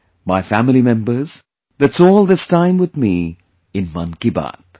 My family members, that's all this time with mein 'Mann Ki Baat'